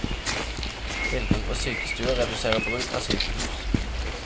Tilgang på sykestuer reduserer bruk av sykehus.